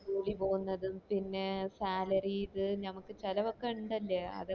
school ഇ പോവുന്നതും പിന്നെ salary ഇത് ഞമക്ക് ചെലവ് ഒക്ക ഇണ്ടല്ലേ അതൊക്ക